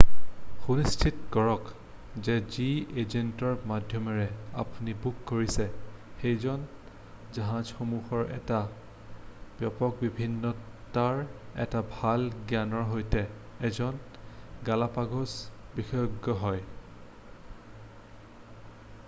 সুনিশ্চিত কৰক যে যি এজেন্টৰ মাধ্যমেৰে আপুনি বুক কৰিছে সেইজন জাহাজসমূহৰ এটা ব্যাপক বিভিন্নতাৰ এটা ভাল জ্ঞানৰ সৈতে এজন গালাপাগ'ছ বিশেষজ্ঞ হয়৷